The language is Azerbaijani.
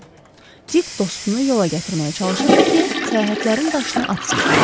Dik dostunu yola gətirməyə çalışırdı ki, səyahətlərin daşını atsın.